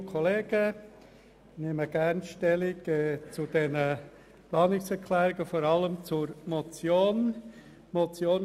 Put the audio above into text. Ich nehme gerne zu diesen Planungserklärungen sowie zur Motion Stellung.